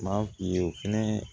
M'a f'i ye o fɛnɛ